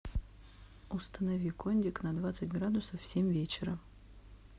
установи кондик на двадцать градусов в семь вечера